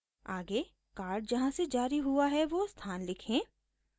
आगे कार्ड जहाँ से जारी हुआ है वो स्थान लिखें